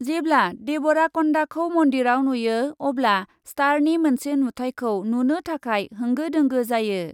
जेब्ला डेबराकन्दाखौ मन्दिरआव नुयो अब्ला स्टारनि मोनसे नुथायखौ नुनो थाखाय होंगो दोंगो जायो।